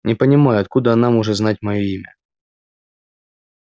не понимаю откуда она может знать моё имя